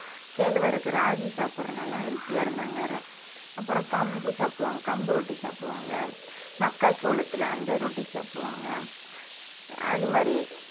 கேழ்வரகு ராகி சாப்பிடறதுனால healthy ஆ இருந்தாங்க அப்புறம் கம்பு சாப்பிடுவாங்க கம்பு ரொட்டி சாப்பிடுவாங்க மக்காச்சோளத்துல அந்த ரொட்டி சாப்பிடுவாங்க அது மாதிரி